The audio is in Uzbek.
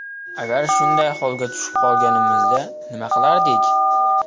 Agar shunday holga tushib qolganimizda nima qilardik?